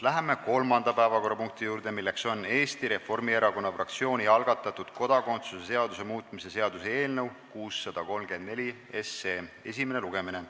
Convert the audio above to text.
Läheme kolmanda päevakorrapunkti juurde, milleks on Eesti Reformierakonna fraktsiooni algatatud kodakondsuse seaduse muutmise seaduse eelnõu esimene lugemine.